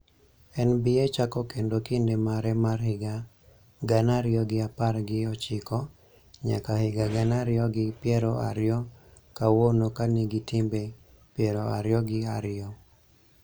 NBA chako kendo kinde mare mar higa gana ariyo gi apar gi ochiko nyaka higa gana ariyi gi piero ariyo kawuono ka nigi timbe piero ariyo gi ariyo